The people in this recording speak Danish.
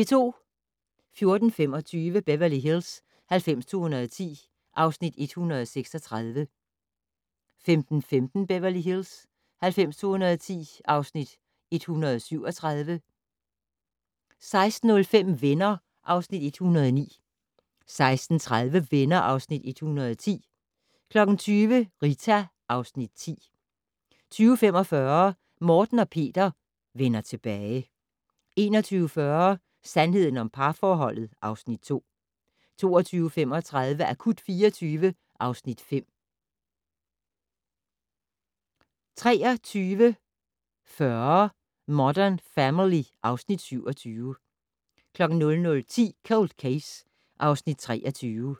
14:25: Beverly Hills 90210 (Afs. 136) 15:15: Beverly Hills 90210 (Afs. 137) 16:05: Venner (Afs. 109) 16:30: Venner (Afs. 110) 20:00: Rita (Afs. 10) 20:45: Morten og Peter - vender tilbage 21:40: Sandheden om parforholdet (Afs. 2) 22:35: Akut 24 (Afs. 5) 23:40: Modern Family (Afs. 27) 00:10: Cold Case (Afs. 23)